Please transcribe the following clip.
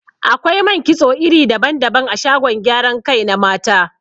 Akwai man kitso iri daban-daban a shagon gyaran kai na mata.